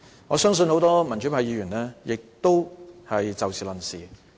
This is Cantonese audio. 我相信很多民主派議員也會以事論事。